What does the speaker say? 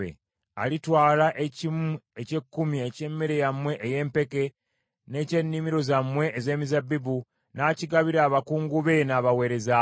Alitwala ekimu eky’ekkumi eky’emmere yammwe ey’empeke, n’eky’ennimiro zammwe ez’emizabbibu, n’akigabira abakungu be n’abaweereza be.